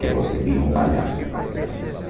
Que você vira um palhaço, praticamente.